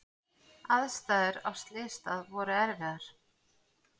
Aðstæður á slysstað voru erfiðar.